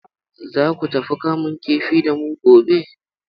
Za ku tafi kamun kifi da mu gobe?